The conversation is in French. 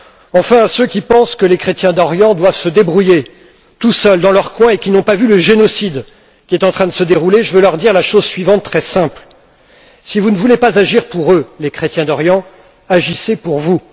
Enfin, à ceux qui pensent que les chrétiens d'Orient doivent se débrouiller seuls dans leur coin et qui n'ont pas vu le génocide qui est en train de se dérouler, je veux dire la chose suivante très simple si vous ne voulez pas agir pour les chrétiens d'Orient, agissez pour vous!